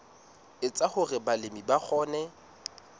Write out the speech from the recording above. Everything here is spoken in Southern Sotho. etsa hore balemi ba kgone